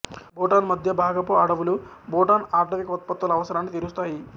భూటాన్ మధ్య భాగపు అడవులు భూటాన్ ఆటవిక ఉత్పత్తుల అవసరాన్ని తీరుస్తాయి